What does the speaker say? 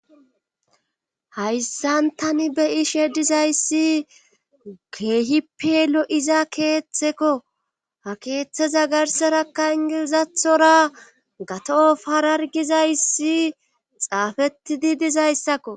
hayssan tani be ishe dizayssi geehippe lo7iza keeththekko ha keeththeza garserakka ingizathora gato farargizayssi xaafetidi dizayssakko